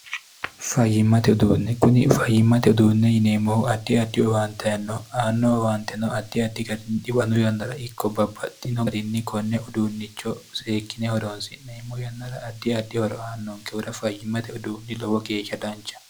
fayyimmate uduunne kuni fayyimmate uduunne yineemmohu addi addi owaanteenno aanno owaante no addi addi garinni dhiwanu yannara ikko babbaxxino gariinni konne uduunnicho seekkine horoosi neemmo yannara addi addi horoaannonkehura fayyimmate uduunni lowo geeshsha dancha